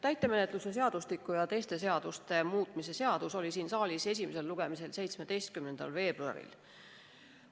Täitemenetluse seadustiku ja teiste seaduste muutmise seadus oli siin saalis esimesel lugemisel 17. veebruaril.